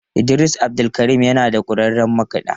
Idris abdulkarim yana da kwararrun makiɗa.